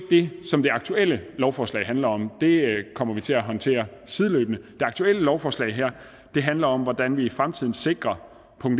det som det aktuelle lovforslag handler om det kommer vi til at håndtere sideløbende det aktuelle lovforslag her handler om hvordan vi i fremtiden sikrer 1